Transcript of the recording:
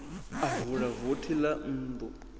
a vula vothi ḽa nnḓu